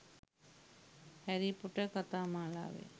හැරී පොටර් කතා මාලාවේ